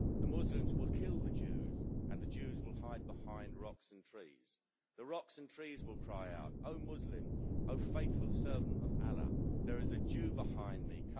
The Muslims will kill the Jews and the Jews will hide behind rocks and trees. The rocks and trees will cry out Oh Muslim, oh faithful servant of Allah, there is a Jew behind me.